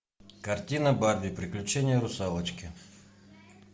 картина барби приключения русалочки